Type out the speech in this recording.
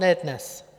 Ne dnes.